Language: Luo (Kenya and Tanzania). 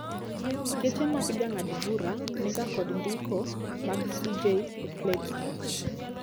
Geche mag jang'ad bura maduong' niga kod ndiko mag CJ e plets gi.